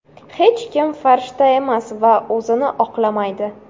Hech kim farishta emas va o‘zini oqlamaydi.